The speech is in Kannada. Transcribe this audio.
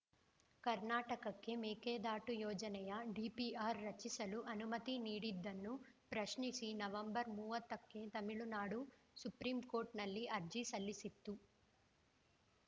ಕರ್ನಾಟಕಕ್ಕೆ ಮೇಕೆದಾಟು ಯೋಜನೆಯ ಡಿಪಿಆರ್‌ ರಚಿಸಲು ಅನುಮತಿ ನೀಡಿದ್ದನ್ನು ಪ್ರಶ್ನಿಸಿ ನವೆಂಬರ್ ಮೂವತ್ತಕ್ಕೆ ತಮಿಳುನಾಡು ಸುಪ್ರೀಂ ಕೋರ್ಟ್‌ನಲ್ಲಿ ಅರ್ಜಿ ಸಲ್ಲಿಸಿತ್ತು